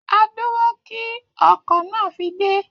A dúró kí ọkọ̀ náà fi dé